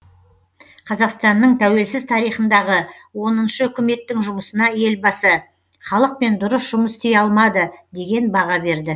қазақстанның тәуелсіз тарихындағы оныншы үкіметтің жұмысына елбасы халықпен дұрыс жұмыс істей алмады деген баға берді